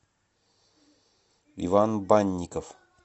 иван банников